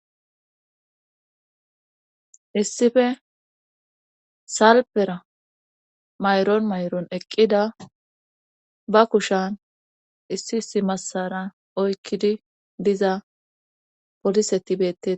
issife salpera mayron mayron eqqida ba kushan issi issi massara oykkidi diza poliseti beettetes